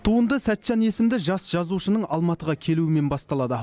туынды сәтжан есімді жас жазушының алматыға келуімен басталады